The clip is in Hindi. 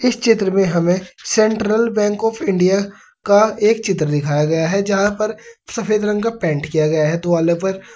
इस चित्र में हमे सेंट्रल बैंक ऑफ इंडिया का एक चित्र दिखाया गया है जहां पर सफेद रंग का पेंट किया गया है दीवालों पर।